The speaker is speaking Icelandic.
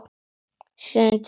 Sjöundi þáttur